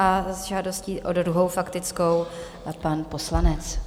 A s žádostí o druhou faktickou pan poslanec.